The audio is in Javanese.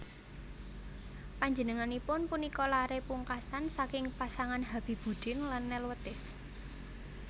Panjenenganipun punika laré pungkasan saking pasangan Habibuddin lan Nelwetis